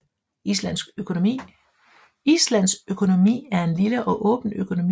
Islands økonomi er en lille og åben økonomi